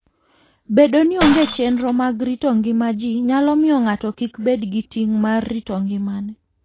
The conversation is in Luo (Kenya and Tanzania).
Bedo ni onge chenro mag rito ngima ji, nyalo miyo ng'ato kik bed gi ting' mar rito ngimane.